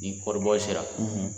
Ni kɔɔribɔ sera